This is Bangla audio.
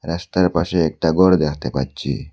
রাস্তার পাশে একটা ঘর দেখতে পাচ্ছি।